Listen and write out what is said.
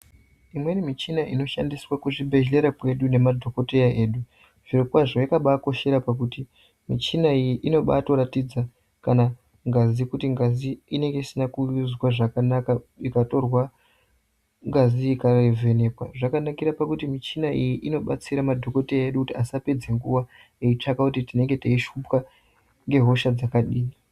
Imweni michina inoshandiswa kuzvibhedhlera kwedu nemadhokodheya edu zvirokwazvo yakabaakoshera kuti muchina iyi inobaatoratidza kana ngazi kuti ngazi inenge isina kuizwa zvakanaka ikatorwa ngazi ikavhenekwa zvakanakira kuti michina iyi inobatsira madhokodheya edu kuti asapedza nguwa eitsvaka kuti tinenge teishupwa ngehosha dzakadini.